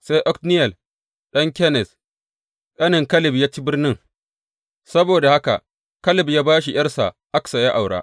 Sai Otniyel ɗan Kenaz, ƙanen Kaleb ya ci birnin, saboda haka Kaleb ya ba shi ’yarsa Aksa ya aura.